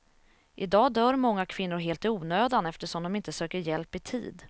I dag dör många kvinnor helt i onödan eftersom de inte söker hjälp i tid.